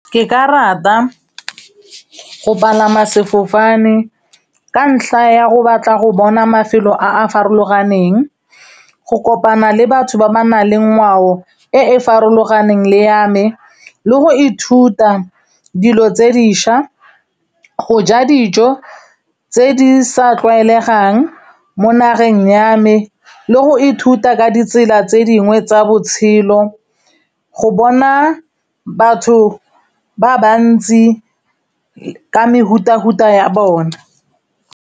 Ke ka rata go palama sefofane ka ntlha ya go batla go bona mafelo a a farologaneng, go kopana le batho ba ba naleng ngwao e e farologaneng le ya me le go ithuta dilo tse diša, go ja dijo tse di sa tlwaelegang mo nageng ya me le go ithuta ka ditsela tse dingwe tsa botshelo, go bona batho ba ba ntsi ka mefuta-futa ya bona.